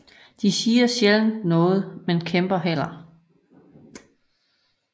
De siger sjældent noget men kæmper hellere